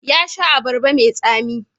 Ya sha abarba mai tsami.